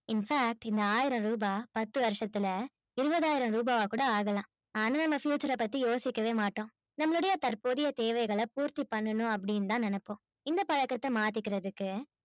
infact இந்த ஆயிரம் ரூபா பத்து வருஷத்துல இருபதாயிரம் ரூபாவா கூட ஆகலாம் ஆனா அந்த சமயத்துல அத பத்தி யோசிக்க கூட மாட்டோம் நம்மலோடைய தற்போதைய தேவைகள பூர்த்தி பண்ணனும் னு அப்பிடின்னு தான் நினைப்போம் இந்த பழக்கத்த மாதிக்குரதுக்கு